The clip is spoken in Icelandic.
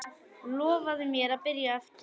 Lofaðu mér að byrja aftur!